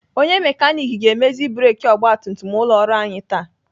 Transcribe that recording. Onye mekanik ga-emezi breki ọgbatumtum ụlọ ọrụ anyị taa.